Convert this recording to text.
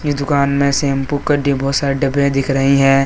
दुकान मे शैंपू के सारे डब्बे दिख रही है।